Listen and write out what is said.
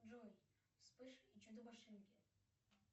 джой вспыш и чудо машинки